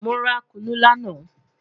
Mo ra kunu lana